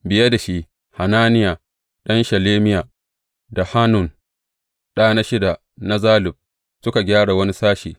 Biye da shi, Hananiya ɗan Shelemiya, da Hanun, ɗa na shida na Zalaf, suka gyara wani sashe.